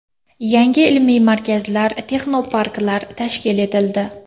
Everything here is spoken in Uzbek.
Yangi ilmiy markazlar, texnoparklar tashkil etildi.